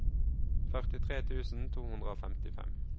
førtitre tusen to hundre og femtifem